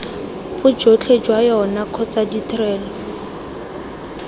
bojotlhe jwa yona kgotsa ditrelo